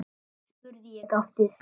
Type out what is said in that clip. spurði ég gáttuð.